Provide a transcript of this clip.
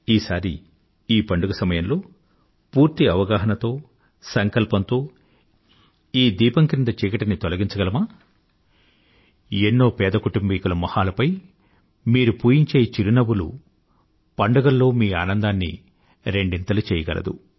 ఈసారి ఈ పందుగ సమయంలో పూర్తి అవగాహనతో సంకల్పంతో ఈ దీపం క్రింద చీకటిని తొలగించగలమా ఎన్నో పేద కుటుంబీకుల మొహాలపై మీరు పూయించే చిరునవ్వులు పండుగల్లో మీ ఆనందాన్ని రెండింతలు చెయ్యగలదు